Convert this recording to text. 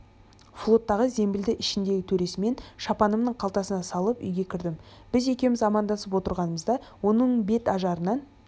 флоттағы зембілді ішіндегі төресімен шапанымның қалтасына салып үйге кірдім біз екеуміз амандасып отырғанымызда оның бет ажарынан